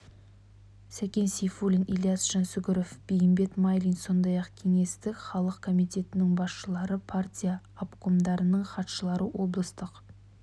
сәкен сейфуллин ілияс жансүгіров бейімбет майлин сондай-ақ кеңестік халық комитетінің басшылары партия обкомдарының хатшылары облыстық